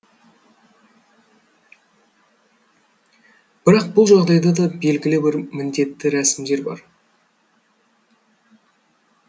бірақ бұл жағдайда да белгілі бір міндетті рәсімдер бар